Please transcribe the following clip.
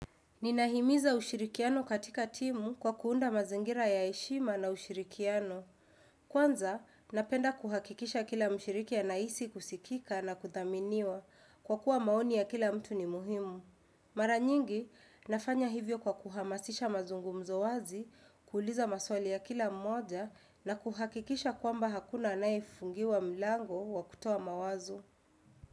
Ninahimiza ushirikiano katika timu kwa kuunda mazingira ya heshima na ushirikiano. Kwanza, napenda kuhakikisha kila mshiriki anahisi kusikika na kuthaminiwa kwa kuwa maoni ya kila mtu ni muhimu. Mara nyingi, nafanya hivyo kwa kuhamasisha mazungumzo wazi, kuuliza maswali ya kila mmoja na kuhakikisha kwamba hakuna anayefungiwa mlango wa kutoa mawazo.